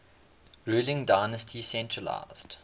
ruling dynasty centralised